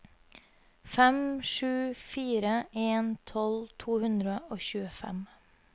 fem sju fire en tolv to hundre og tjuefem